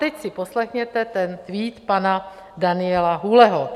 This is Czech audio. Teď si poslechněte ten tweet pana Daniela Hůleho.